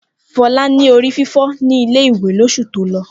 Fọlá ní orí fífọ́ ní ilé-ìwé lóṣù tó lọ.